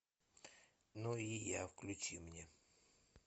ну и я включи мне